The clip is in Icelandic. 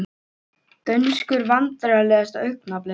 Dönsku Vandræðalegasta augnablik?